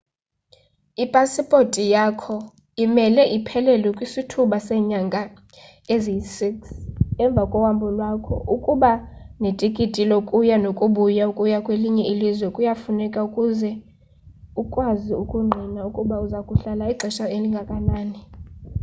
ipasipothi yakho imele iphelelwe kwisithuba seenyanga eziyi-6 emva kohambo lwakho. ukuba netikiti lokuya nokubuya/ukuya kwelinye ilzwe kuyafuneka ukuze ukwazi ukungqina ukuba uza kuhlala ixesha elingakanani